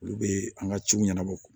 Olu be an ga ciw ɲɛnabɔ